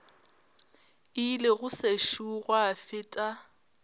ile go sešo gwa feta